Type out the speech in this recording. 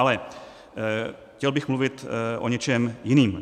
Ale chtěl bych mluvit o něčem jiném.